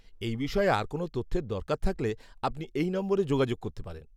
এই বিষয়ে আর কোনও তথ্যের দরকার থাকলে আপনি এই নম্বরে যোগাযোগ করতে পারেন।